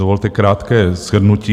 Dovolte krátké shrnutí.